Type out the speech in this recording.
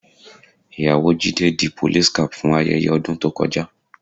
Ìyàwó Jídé di police cap fún ayẹyẹ ọdún tó kọjá